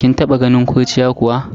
Kin taba ganin kurciya kuwa?